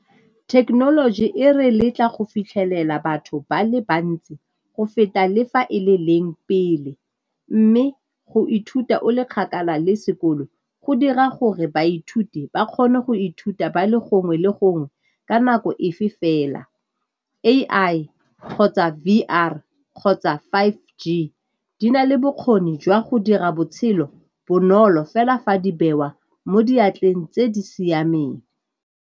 Thekenoloji e re letla go fitlhelela batho ba le bantsi go feta le fa e le leng pele, mme go ithuta o le kgakala le sekolo go dira gore baithuti ba kgone go ithuta ba le gongwe le gongwe ka nako efe fela. A_I kgotsa V_R kgotsa five G di na le bokgoni jwa go dira botshelo bonolo fela fa di bewa mo diatleng tse di siameng.